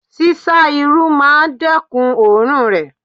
Sísá Irú máa dẹ́kun oòrùn rè.